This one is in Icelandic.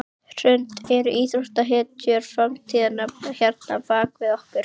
Hrund: Eru íþróttahetjur framtíðarinnar hérna bak við okkur?